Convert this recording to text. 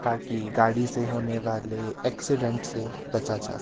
ताकि गाड़ी से होने वाले एक्सीडेंट से बचा जा--